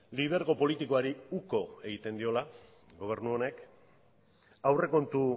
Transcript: lidergo politikoari uko egiten diola gobernu honek aurrekontu